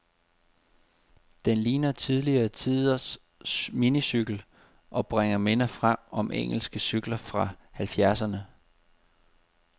Den ligner tidligere tiders minicykel, og bringer minder frem om engelske cykler fra halvfjerdserne.